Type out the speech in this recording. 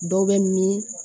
Dɔ bɛ min